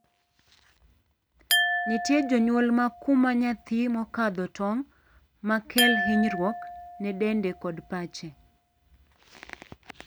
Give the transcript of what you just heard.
Nitie jonyuol ma kumo nyathi mokadho tong', ma kel hinyruok ne dende kod pache.